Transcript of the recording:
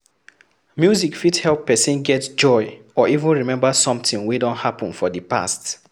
Music fit help person get joy or even remember something wey don happen for di past